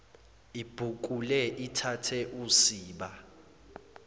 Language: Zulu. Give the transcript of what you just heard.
ibhukule ithathe usiba